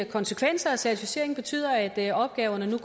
konsekvenser at certificeringen betyder at opgaverne nu